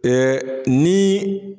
Ɛɛ niii